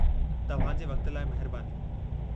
तव्हां जे वक़्त लाइ महिरबानी।